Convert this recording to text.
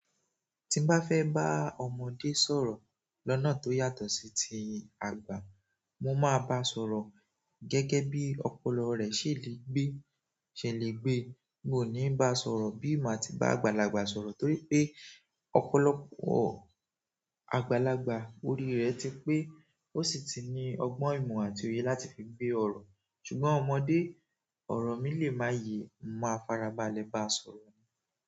Tí n bá fẹ́ bá ọmọdé sọ̀rọ̀ lọ́nà tó yàtọ̀ sí ti àgbà, mo máa bá a sọ̀rọ̀ gẹ́gẹ́ bí ọpọlọ rẹ̀ ṣe le gbe, ṣe le gbe. Wo ni basoro bi mati ba àgbàlagbà sọ̀rọ̀ toripe ọ̀pọ̀lọpọ̀ àgbàlagbà orire ti pe o sí ti ni ogbon, ìmọ̀ àti òye láti fi gbe ọrọ. Ṣùgbọ́n ọmọdé, ọ̀rọ̀ mi lè má yẹ máa farabalẹ̀ bá a sọ̀rọ̀.